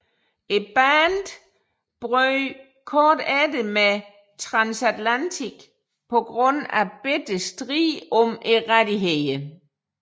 Bandet brød kort efter med Transatlantic på grund af bitter strid om rettighederne